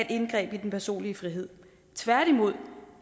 indgreb i den personlige frihed tværtimod